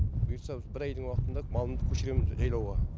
бұйыртса бір айдың уақытында малымды көшіремін жайлауға